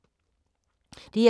DR2